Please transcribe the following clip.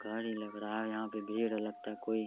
गाडी लग रहा है यहाँ पे भीड़ लगता है कोई --